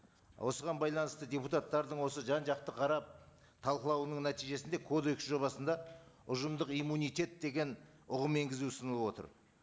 осыған байланысты депутаттардың осы жан жақты қарап талқылауының нәтижесінде кодекс жобасында ұжымдық иммунитет деген ұғым енгізу ұсынылып отыр